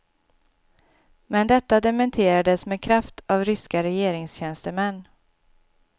Men detta dementerades med kraft av ryska regeringstjänstemän.